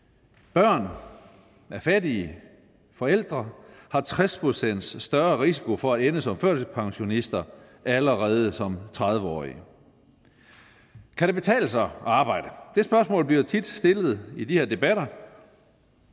børn af fattige forældre har tres procent større risiko for at ende som førtidspensionister allerede som tredive årige kan det betale sig at arbejde det spørgsmål bliver tit stillet i de her debatter